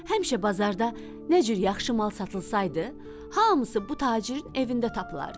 Həmişə bazarda nə cür yaxşı mal satılsaydı, hamısı bu tacirin evində tapılardı.